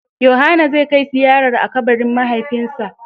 Yohana zai kai ziyarar a kabarin mahaifinsa.